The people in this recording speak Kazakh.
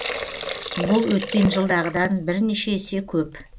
бұл өткен жылдағыдан бірнеше есе көп